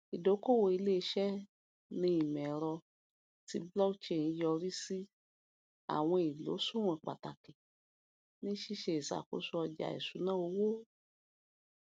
ìdókòòwò iléiṣẹ ní ìmọẹrọ ti blockchain yọrí sí àwọn ìlòṣùwọn pàtàkì ní ṣíṣe ìṣàkóso ọjà ìṣúná owó